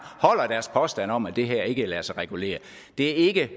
holder deres påstand om at det her ikke lader sig regulere det er ikke